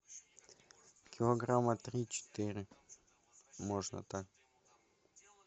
килограмма три четыре можно так